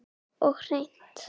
Og hreint.